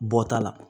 Bɔta la